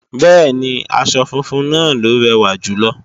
Bẹ́ẹ̀ni, aṣọ funfun náà ló rẹ̀wà jùlọ